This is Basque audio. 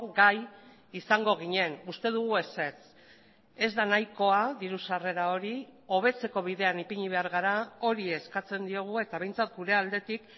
gai izango ginen uste dugu ezetz ez da nahikoa diru sarrera hori hobetzeko bidean ipini behar gara hori eskatzen diogu eta behintzat gure aldetik